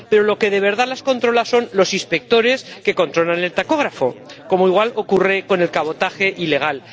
Pero lo que de verdad las controla son los inspectores que controlan el tacógrafo, al igual que ocurre con el cabotaje ilegal.